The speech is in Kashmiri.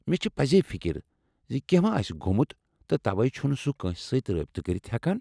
مےٚ چھےٚ پزے فکر زِ کٮ۪نٛہہ ما آسہِ گوٚمُت تہٕ توے چُھنہٕ سُہ کٲنٛسہِ سۭتۍ رٲبطہٕ کٔرِتھ ہٮ۪کان ۔